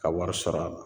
Ka wari sɔrɔ a la